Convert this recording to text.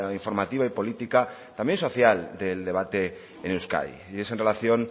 informativa y política también social del debate en euskadi y es en relación